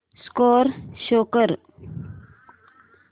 score show कर